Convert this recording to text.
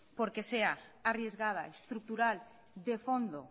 porque sea arriesgada estructural de fondo